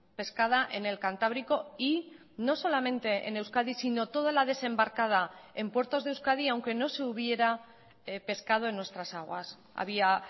pescada en el cantábrico y no solamente en euskadi sino toda la desembarcada en puertos de euskadi aunque no se hubiera pescado en nuestras aguas había